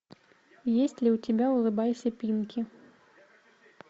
есть ли у тебя улыбайся пинки